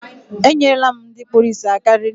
E nyere la m ndị kpụrụ isi aka rinne